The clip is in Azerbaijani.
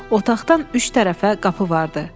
Otaqdan üç tərəfə qapı vardı.